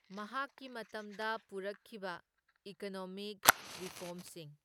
ꯃꯍꯥꯛꯀꯤ ꯃꯇꯝꯗ ꯄꯨꯔꯛꯈꯤꯕ ꯏꯀꯣꯅꯣꯃꯤꯛ ꯔꯤꯐꯣꯔꯝꯁꯤꯡ꯫.